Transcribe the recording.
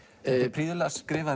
prýðilega skrifað